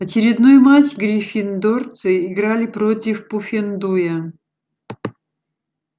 очередной матч гриффиндорцы играли против пуффендуя